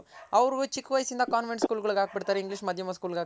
ಅವ್ರ್ ಚಿಕ್ ವಯಸ್ಸಿಂದ convent School ಗಳ್ಗ್ ಹಾಕ್ ಬಿಡ್ತಾರೆ English ಮಾಧ್ಯಮ School ಗೆ ಹಾಕ್ತಾರೆ